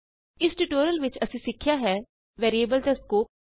ਇਸ ਟਿਯੂਟੋਰਿਅਲ ਵਿਚ ਅਸੀਂ ਸਿੱਖਿਆ ਹੈ ਵੈਰੀਏਬਲ ਦਾ ਸਕੋਪ